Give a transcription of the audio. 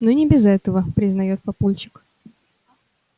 ну не без этого признает папульчик